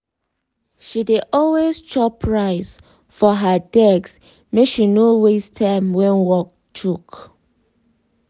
she dey always chop rice for her desk make she no waste time when work choke.